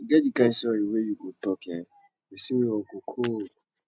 e get di kain sori wey yu go tok eh pesin wey hot go cold